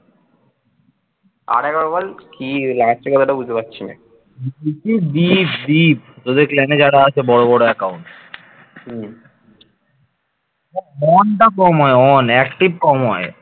on টা কম হয় on active কম হয়।